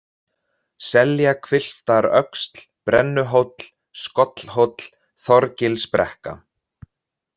Seljahvilftaröxl, Brennuhóll, Skollhóll, Þorgilsbrekka